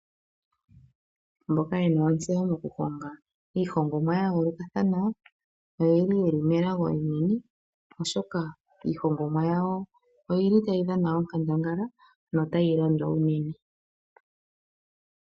Mboka ye na ontseyo mokuhonga iihongomwa ya yoolokathana oye li melago enene, oshoka iihongomwa yawo otayi dhana onkandangala notayi landwa unene.